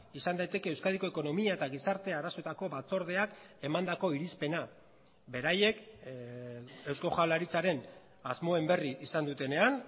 izan daiteke euskadiko ekonomia eta gizarte arazoetako batzordeak emandako irizpena beraiek eusko jaurlaritzaren asmoen berri izan dutenean